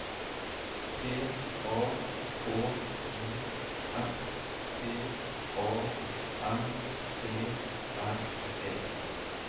P A K I S T A N E R E